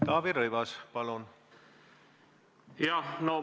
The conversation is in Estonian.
Taavi Rõivas, palun!